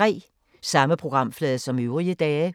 Samme programflade som øvrige dage